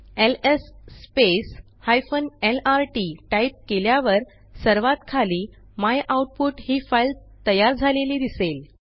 LS lrt type केल्यावर सर्वात खाली मायआउटपुट ही फाईल तयार झालेली दिसेल